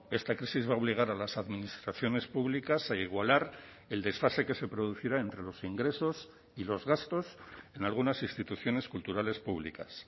esta crisis va a obligar a las administraciones públicas a igualar el desfase que se producirá entre los ingresos y los gastos en algunas instituciones culturales públicas